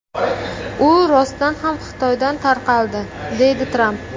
U rostdan ham Xitoydan tarqaldi”, deydi Tramp.